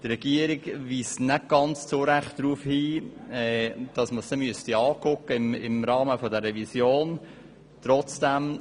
Die Regierung weist nicht ganz zu Unrecht darauf hin, dass man dies im Rahmen der Revision anschauen müsste.